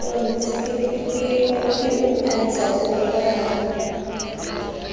ke o antsha phooko ha